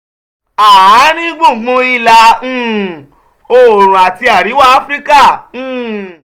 àárín gbùngbùn ìlà um oòrùn àti àríwá áfíríkà: um